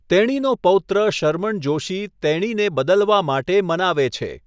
તેણીનો પૌત્ર શરમન જોશી તેણીને બદલવા માટે મનાવે છે.